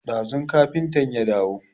Ɗazun kafintan ya dawo